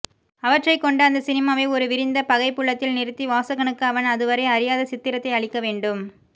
அவற்றைக்கொண்டு அந்த சினிமாவை ஒரு விரிந்த பகைப்புலத்தில் நிறுத்தி வாசகனுக்கு அவன் அதுவரை அறியாத சித்திரத்தை அளிக்கவேண்டும்